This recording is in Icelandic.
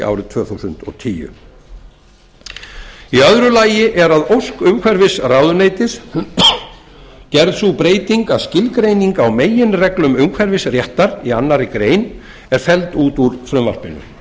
árið tvö þúsund og tíu í öðru lagi er að ósk umhverfisráðuneytis gerð sú breyting að skilgreining á meginreglum umhverfisréttar í annarri grein er felld út úr frumvarpinu þess